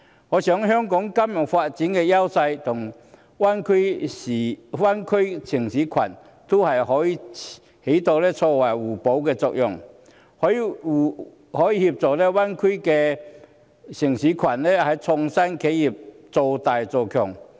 我認為香港在金融發展方面的優勢可與大灣區城市群發揮互補作用，以協助大灣區城市群的創新企業造大造強。